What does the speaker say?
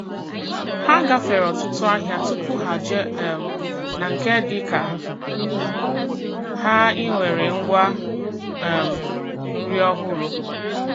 Ha gafere ọtụtụ ahịa tupu ha jee um na nke dịka ha e nwere ngwa um nri ọhụrụ